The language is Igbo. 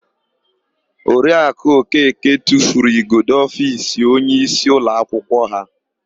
Oriakụ Okeke tufuru igodo ofiisi onyeisi ụlọakwụkwọ ha.